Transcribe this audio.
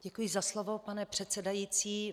Děkuji za slovo, pane předsedající.